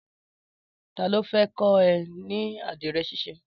Tàló fè kọ ẹ̀ ni ádirẹ̀ ṣisé?